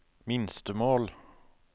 minstemål